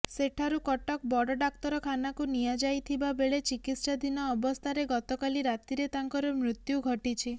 ସେଠାରୁ କଟକ ବଡ଼ ଡାକ୍ତରଖାନାକୁ ନିଆଯାଇଥିବାବେଳେ ଚିକିତ୍ସାଧୀନ ଅବସ୍ଥାରେ ଗତକାଲି ରାତିରେ ତାଙ୍କର ମୃତ୍ୟୁ ଘଟିଛି